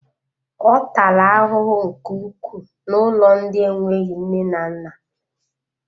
Ọ taala ahụhụ nke ukwuu n'ụlọ ndị enweghị nne na nna